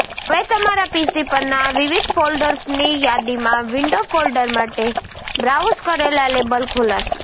હવે તમારા પીસી પરના વિવિધ ફોલ્ડર્સની યાદીમાં વિન્ડો ફોલ્ડર માટે બ્રાઉઝ કરેલા લેબલ ખોલશે